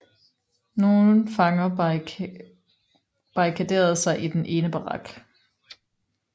Nogle fanger barrikaderede sig i den ene barak